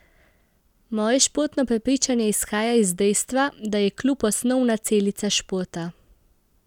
Moje športno prepričanje izhaja iz dejstva, da je klub osnovna celica športa.